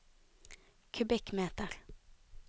kubikkmeter